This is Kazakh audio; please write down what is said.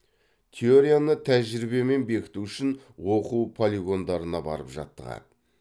теорияны тәжірибемен бекіту үшін оқу полигондарына барып жаттығады